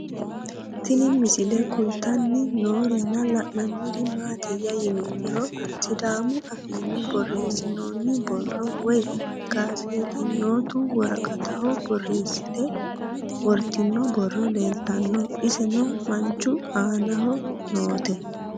Tinni misile kulittanni noorrinna la'nanniri maattiya yinummoro sidaamu affinni borreessinoonni borro woy gazeexanyottu woraqattaho borreessitte worittinno borro leelittanno iseno manchu aannaho nootte